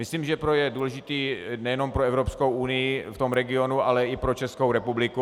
Myslím, že je důležitý nejen pro Evropskou unii v tom regionu, ale i pro Českou republiku.